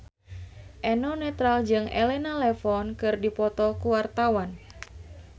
Eno Netral jeung Elena Levon keur dipoto ku wartawan